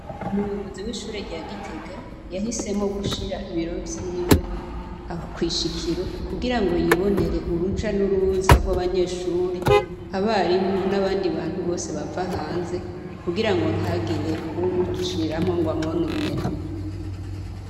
Umuyobozi w' ishure rya Gitega, yahisemwo gushira ibiro vyiwe kw' ishikiro, kugirango yibonere uruja n' uruza rw'abanyeshuri, abarimu, n' abandi bantu bose bava hanze, kugirango ntagire uwumuciramwo ngo amwononere.